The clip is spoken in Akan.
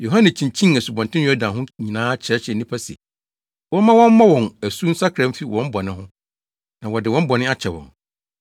Yohane kyinkyinii Asubɔnten Yordan ho nyinaa kyerɛkyerɛɛ nnipa se, wɔmma wɔmmɔ wɔn asu nsakra mfi wɔn bɔne ho, na wɔde wɔn bɔne akyɛ wɔn.